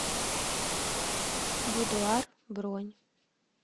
будуар бронь